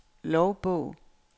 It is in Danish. logbog